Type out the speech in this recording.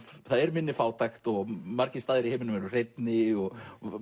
það er minni fátækt og margir staðir í heiminum eru hreinni og